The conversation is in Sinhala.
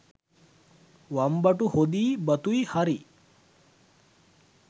වම්බටු හොදියි බතුයි හරි